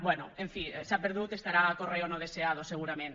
bé en fi s’ha perdut estarà a correo no deseado segurament